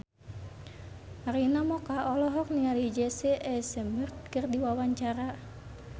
Arina Mocca olohok ningali Jesse Eisenberg keur diwawancara